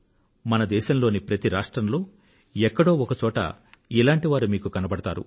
మన దేశంలోని ప్రతి రాష్ట్రంలో ఎక్కడో ఒకచోట ఇలాంటి వారు మీకు కనబడతారు